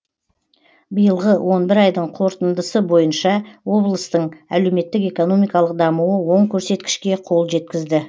биылғы он бір айдың қорытындысы бойынша облыстың әлеуметтік экономикалық дамуы оң көрсеткішке қол жеткізді